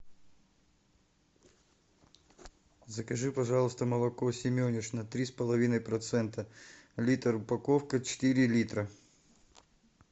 закажи пожалуйста молоко семенишна три с половиной процента литр упаковка четыре литра